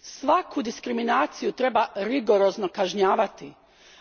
Svaku diskriminaciju treba rigorozno kažnjavati,